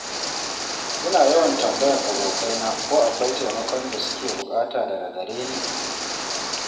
Ina yawan tambayan abokaina ko akwai taimakon da su ke buƙata daga gare Ni.